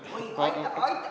Juba?